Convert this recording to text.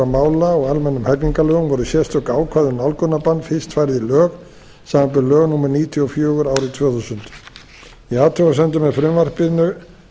mála og almennum hegningarlögum voru sérstök ákvæði um nálgunarbann fyrst færð í lög samanber lög númer níutíu og fjögur árið tvö þúsund í athugasemdum með frumvarpinu